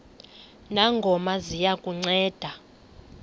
ngongoma ziya kukunceda